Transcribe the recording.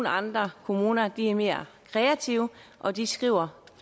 andre kommuner er mere kreative og de skriver